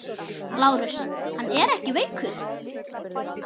LÁRUS: Hann er ekki veikur!